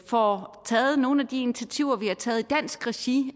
får taget nogle af de initiativer vi har taget i dansk regi